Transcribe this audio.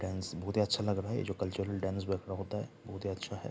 Dance बहोत ही अच्छा लग रहा है ये जो कल्चरल डांस वर्क में होता है बहोत ही अच्छा है।